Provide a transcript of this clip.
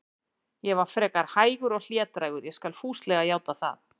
Ég var frekar hægur og hlédrægur, ég skal fúslega játa það.